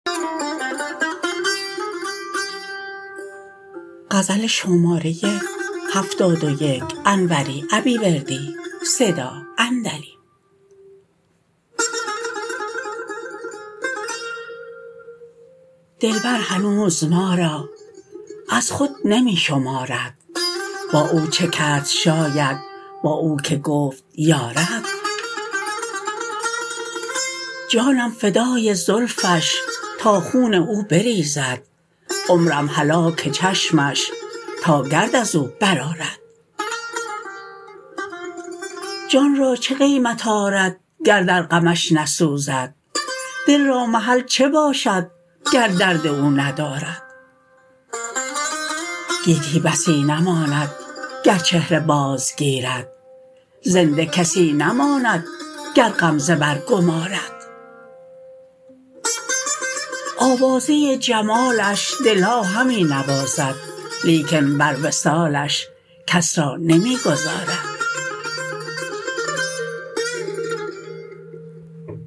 دلبر هنوز ما را از خود نمی شمارد با او چه کرد شاید با او که گفت یارد جانم فدای زلفش تا خون او بریزد عمرم هلاک چشمش تا گرد از او برآرد جان را چه قیمت آرد گر در غمش نسوزد دل را محل چه باشد گر درد او ندارد گیتی بسی نماند گر چهره باز گیرد زنده کسی نماند گر غمزه برگمارد آوازه جمالش دلها همی نوازد لیکن بر وصالش کس را نمی گذارد